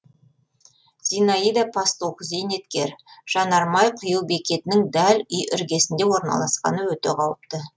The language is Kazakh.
зинаида пастух зейнеткер жанармай құю бекетінің дәл үй іргесінде орналасқаны өте қауіпті